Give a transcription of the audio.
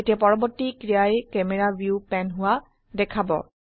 এতিয়া পৰবৰ্তী ক্ৰিয়ায়ে ক্যামেৰা ভিউ প্যান হোৱা দেখাব